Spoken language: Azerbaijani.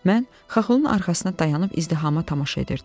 Mən Xaxolun arxasına dayanib izdihama tamaşa edirdim.